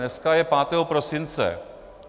Dneska je 5. prosince.